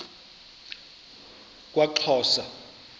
kwaxhosa